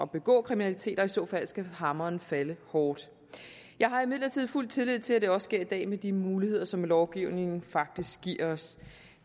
begå kriminalitet og i så fald skal hammeren falde hårdt jeg har imidlertid fuld tillid til at det også sker i dag med de muligheder som lovgivningen faktisk giver os